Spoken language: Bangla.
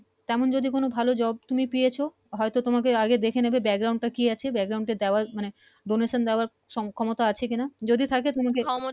তেমন যদি কোনো ভালো Job যদি পেয়েছও হয় তো তোমাকে আগে দেখে নিবে Background টা কি আছে Background টা দেওয়ার মতো Donation দেওয়ার ক্ষমতা আছে কিনা যদি থাকে